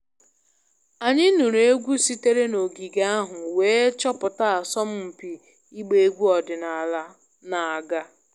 Anyị nụrụ egwu sitere n'ogige ahụ wee chọpụta asọmpi ịgba egwu ọdịnala na-aga